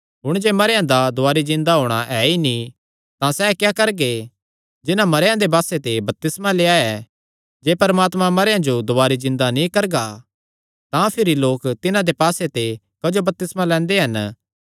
हुण जे मरेयां दा दुवारी जिन्दा होणा ऐ नीं तां सैह़ क्या करगे जिन्हां मरेयां दे पास्से ते बपतिस्मा लेई लेआ ऐ जे परमात्मा मरेयां जो दुवारी जिन्दा नीं करगा तां भिरी लोक तिन्हां दे पास्से ते क्जो बपतिस्मा लैंदे हन